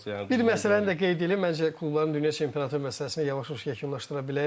Bir məsələni də qeyd eləyim, məncə klubların dünya çempionatı məsələsini yavaş-yavaş yekunlaşdıra bilərik.